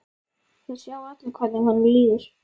Það sjá allir hvernig honum líður.